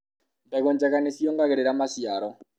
mbegũ njega nĩ ciogagĩrĩra maciaro